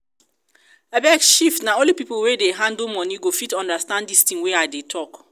abeg shift na only people wey dey handle money go fit understand dis thing wey i wan talk